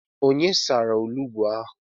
Onye sara olugbo ahụ?